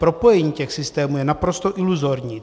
Propojení těch systémů je naprosto iluzorní.